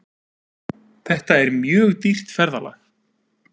Þetta er mjög dýrt ferðalag.